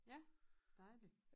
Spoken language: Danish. Ja dejlig